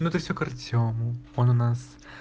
но это все к артему он у нас